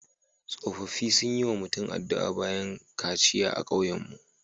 Tsofaffi sun yi wa mutum addu'a bayan kaciya a kauyenmu.